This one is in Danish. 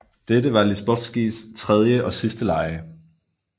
Dette var Lizbovskis tredje og sidste lege